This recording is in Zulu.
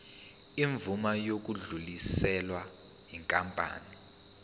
imvume yokudluliselwa yinkampani